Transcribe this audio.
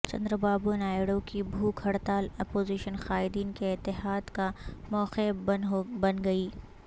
چندرابابو نائیڈو کی بھوک ہڑتال اپوزیشن قائدین کے اتحاد کا موقع بن گئی